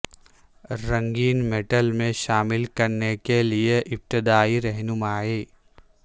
رنگین میٹل میں شامل کرنے کے لئے ابتدائی رہنمائی